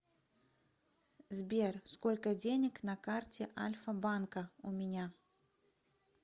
сбер сколько денег на карте альфа банка у меня